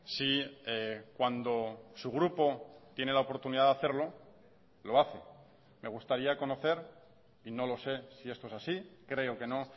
si cuando su grupo tiene la oportunidad de hacerlo lo hace me gustaría conocer y no lo sé si esto es así creo que no